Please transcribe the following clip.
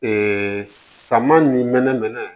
saman ni mɛnɛ nana